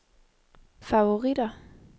favoritter